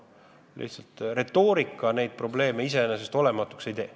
Lihtsalt retoorikaga neid probleeme iseenesest olematuks ei tee.